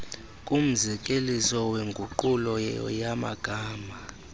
kumzekeliso wenguqulo yamagama